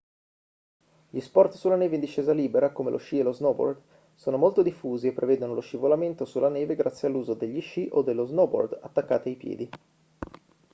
gli sport sulla neve in discesa libera come lo sci e lo snowboard sono molto diffusi e prevedono lo scivolamento sulla neve grazie all'uso degli sci o dello snowboard attaccati ai piedi